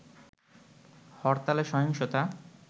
হরতালে সহিংসতা